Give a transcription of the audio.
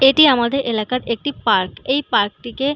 এটি আমাদের এলাকার একটি পার্ক । এই পার্ক টিকে--